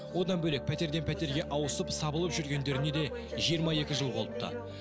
одан бөлек пәтерден пәтерге ауысып сабылып жүргендеріне де жиырма екі жыл болыпты